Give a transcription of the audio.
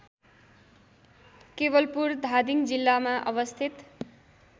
केवलपुर धादिङ जिल्लामा अवस्थित